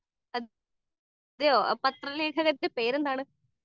speaker 2 അതെയോ ആ പത്ര പേരെന്താണ്